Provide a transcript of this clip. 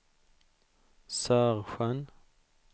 Sörsjön